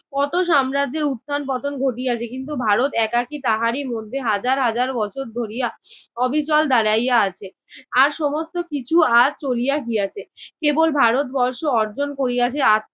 কত সাম্রাজ্যের উত্থান পতন ঘটিয়াছে কিন্তু ভারত একাকী তাহারই মধ্যে হাজার হাজার বছর ধরিয়া অবিচল দাঁড়াইয়া আছে। আর সমস্ত কিছু আজ চলিয়া গিয়াছে, কেবল ভারতবর্ষ অর্জন করিয়াছে